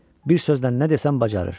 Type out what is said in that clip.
Bir sözlə nə desən bacarır.